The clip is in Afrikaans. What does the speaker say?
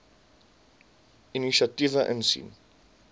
inisiatiewe insien